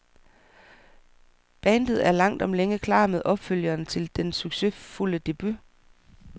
Bandet er langt om længe klar med opfølgeren til den succesfulde debut.